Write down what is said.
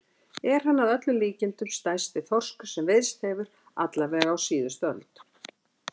Er hann að öllum líkindum stærsti þorskur sem veiðst hefur, alla vega á síðustu öld.